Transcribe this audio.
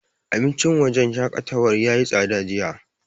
Abincin wajen shaƙatawar yayi tsada jiya.